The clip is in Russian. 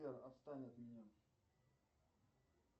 сбер отстань от меня